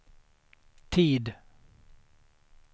tid